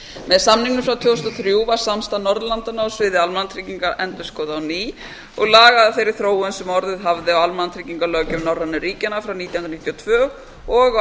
með samningnum frá tvö þúsund og þrjú var samstarf norðurlandanna á sviði almannatrygginga endurskoðað á ný og lagað að þeirri þróun sem orðið hafði á almannatryggingalöggjöf norrænu ríkjanna frá nítján hundruð níutíu og tvö og